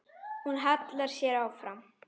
Hún hallar sér fram.